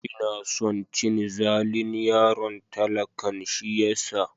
Ina son cin zalin yaron talakan shi yasa.